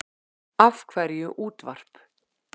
Af hverju útvarp?